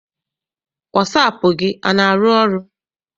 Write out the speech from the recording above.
Wasaapụ gị ana arụ ọrụ?